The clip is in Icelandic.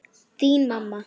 Þín mamma.